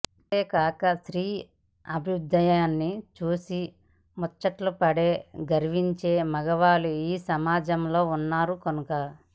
అంతేకాక స్త్రీ అభ్యుదయా న్ని చూసి ముచ్చట పడే గర్వించే మగవాళ్లు ఈ సమాజంలో ఉన్నారు కనుక